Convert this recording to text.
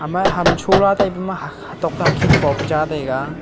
ma ham chola tai pe ma hatok a khet pope cha tega.